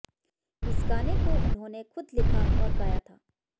इस गाने को उन्होंने खुद लिखा और गाया था